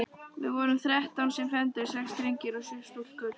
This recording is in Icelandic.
Við vorum þrettán sem fermdumst, sex drengir og sjö stúlkur.